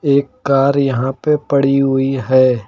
एक कार यहां पे पड़ी हुई है।